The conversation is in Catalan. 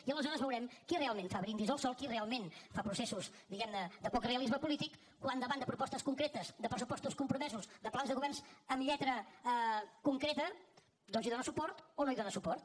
i aleshores veurem qui realment fa brindis al sol qui realment fa processos diguemne de poc realisme polític quan davant de propostes concretes de pressupostos compromesos de plans de governs amb lletra concreta doncs hi dóna suport o no hi dóna suport